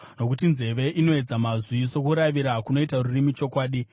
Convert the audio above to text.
Nokuti nzeve inoedza mazwi sokuravira kunoita rurimi chokudya.